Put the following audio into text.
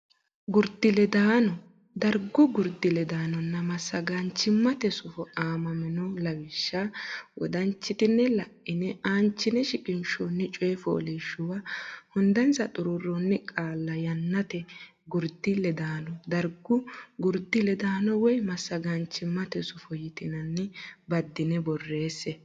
Gurdi ledaano Dargu Gurdi ledaanonna Massagaamaanchimmate Sufo aamamino lawishsha wodanchitine la ine aanchine shiqinshoonni coy fooliishshuwa hundansa xuruurroonni qaalla yannate gurdi ledaano dargu gurdi ledaano woy massagamaanchimmate sufo yitinanni baddine borreesse.